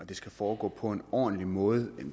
det skal foregå på en ordentlig måde